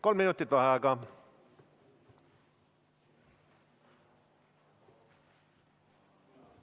Kolm minutit vaheaega.